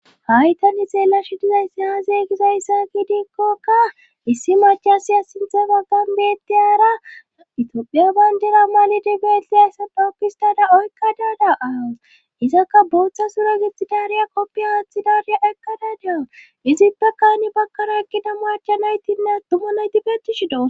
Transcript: haytani xeelashi dizayssi haazeygizayssa giidikkokka issi machasiya sinthe baggan beettiyara itopiya bayndera malidibeetli hayssape okkistada oykka daada7as izakka booththa sura gexxidaariya koppiya haathi dareya ekkadadea izippe kayni bakkaro ekkida macha naytinne attuma naytibetishido